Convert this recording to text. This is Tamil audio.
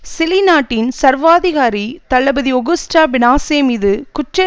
சிலி நாட்டின் சர்வாதிகாரி தளபதி ஒகுஸ்டோ பினோசே மீது குற்ற